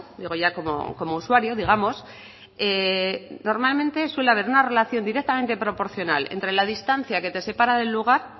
digo ya como usuario digamos normalmente suele haber una relación directamente proporcional entre la distancia que te separa del lugar